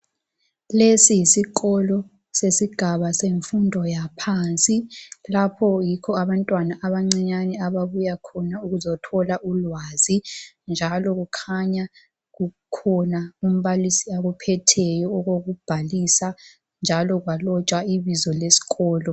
Lesi yisikolo sesigaba semfundo yaphansi lapha yikho abantwana abancinyane ababuya khona bezothola ulwazi njalo kukhanya kukhona umbalisi akuphetheyo okokubhalisa njalo kwalotshwa ibizo lesikolo